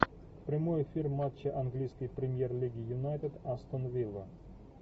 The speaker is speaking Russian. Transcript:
прямой эфир матча английской премьер лиги юнайтед астон вилла